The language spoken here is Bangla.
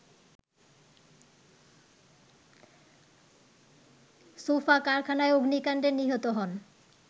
সোফা কারখানায় অগ্নিকাণ্ডে নিহত হন